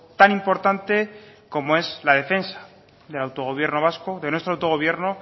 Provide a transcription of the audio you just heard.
tan importante como es la defensa del autogobierno vasco de nuestro autogobierno